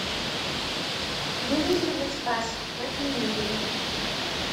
выведи мне спас на телевизоре